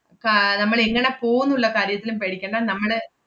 ആഹ് നമ്മളെങ്ങനെ പോവുന്നുള്ള കാര്യത്തിലും പേടിക്കണ്ട, നമ്മള്